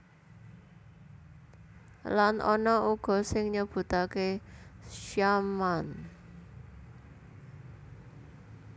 Lan ana uga sing nyebutaké Syam an